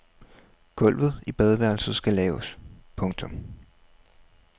Gulvet i badeværelset skal laves. punktum